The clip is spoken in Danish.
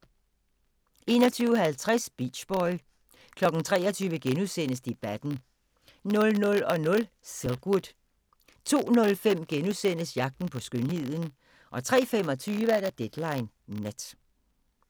21:50: Beach boy 23:00: Debatten * 00:00: Silkwood 02:05: Jagten på skønheden * 03:25: Deadline Nat